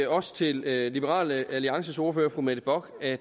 også til liberal alliances ordfører fru mette bock at